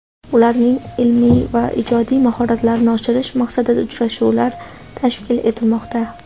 ularning ilmiy va ijodiy mahoratlarini oshirish maqsadida uchrashuvlar tashkil etilmoqda.